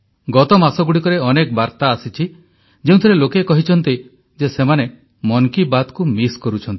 ଗତ ମାସଗୁଡ଼ିକରେ ଅନେକ ବାର୍ତା ଆସିଛି ଯେଉଁଥିରେ ଲୋକେ କହିଛନ୍ତି ଯେ ସେମାନେ ମନ୍ କି ବାତ୍କୁ ମିସ୍ କରୁଛନ୍ତି